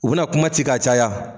U bina kuma ci k'a caya